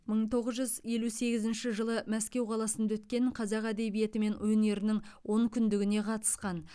мың тоғыз жүз елу сегізінші жылы мәскеу қаласында өткен қазақ әдебиеті мен өнерінің онкүндігіне қатысқан